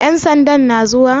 Ƴan sandan na zuwa?